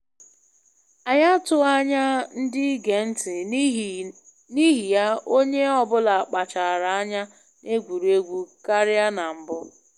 Anyị atụghị anya ndị ige ntị, n'ihi ya onye ọ bụla kpachaara anya na egwuregwu karịa na mbụ